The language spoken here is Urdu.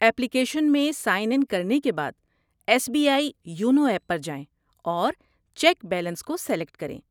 ایپلیکیشن میں سائن اِن کرنے کے بعد، 'S B I YONO app' پر جائیں اور 'چیک بیلنس' کو سیلیکٹ کریں۔